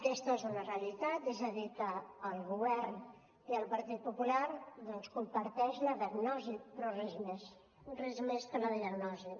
aquesta és una realitat és a dir que el govern i el partit popular doncs comparteixen la diagnosi però res més res més que la diagnosi